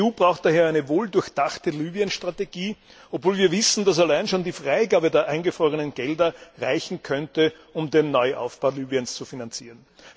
Die EU braucht daher eine wohldurchdachte Libyen Strategie, obwohl wir wissen, dass allein schon die Freigabe der eingefrorenen Gelder reichen könnte, um den Neuaufbau Libyens zu finanzieren.